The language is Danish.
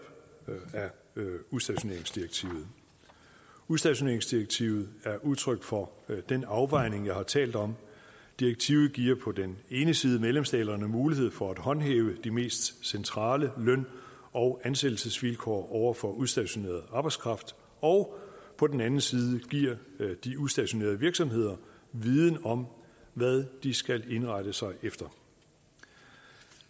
udstationeringsdirektivet udstationeringsdirektivet er udtryk for den afvejning jeg har talt om direktivet giver på den ene side medlemsstaterne mulighed for at håndhæve de mest centrale løn og ansættelsesvilkår over for udstationeret arbejdskraft og på den anden side giver de udstationerede virksomheder viden om hvad de skal indrette sig efter